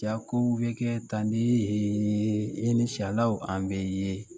Ka kow bi kɛ tannen an bɛ ye.